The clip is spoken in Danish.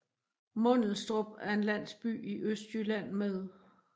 Mundelstrup er en landsby i Østjylland med